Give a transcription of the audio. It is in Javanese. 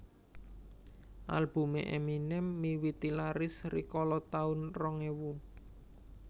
Albume Eminem miwiti laris rikala taun rong ewu